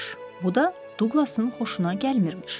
Bu da Duqlasın xoşuna gəlmirmiş.